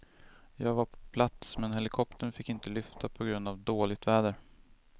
Jag var på plats men helikoptern fick inte lyfta på grund av dåligt väder.